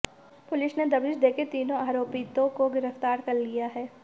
police ने दबिश देकर तीनों आरोपितों को गिरफ्तार कर लिया है